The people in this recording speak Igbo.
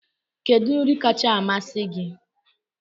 Kedu nri kacha amasị gị?